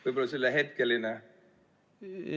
Võib-olla see oli hetkeline.